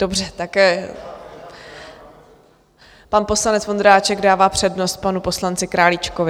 Dobře, tak pan poslanec Vondráček dává přednost panu poslanci Králíčkovi.